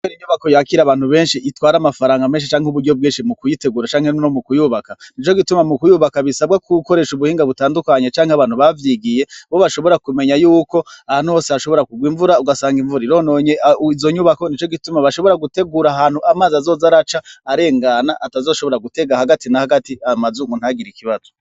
Re inyubako yakira abantu benshi itwara amafaranga menshi canke uburyo bwenshi mu kuyitegura canke nuno mu kuyubaka ni co gituma mu kuyubaka bisabwako uwukoresha ubuhinga butandukanye canke abantu bavyigiye bo bashobora kumenya yuko ahantu hose hashobora kugwa imvura ugasanga imvura irononye izonyubako ni co gituma bashobora gutegura ahantu amaze azoza araca arengana atazoshobora gutega hagati na hagati amaze muntagira ikibazo.